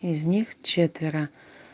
из них четверо